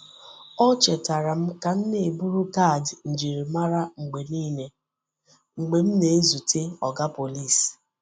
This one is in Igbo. Ọ chetara m ka m na-eburu kaadị njirimara mgbe nile mgbe m na-ezute Oga Pọlịs.